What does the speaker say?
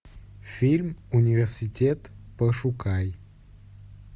фильм университет пошукай